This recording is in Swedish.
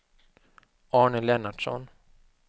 Arne Lennartsson